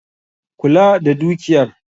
Kula da dukiyar